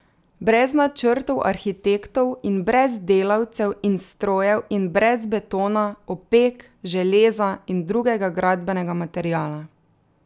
Brez načrtov arhitektov in brez delavcev in strojev in brez betona, opek, železa in drugega gradbenega materiala.